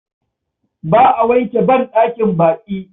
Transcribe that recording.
Ba a wanke banɗakin baƙi.